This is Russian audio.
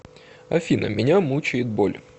афина меня мучает боль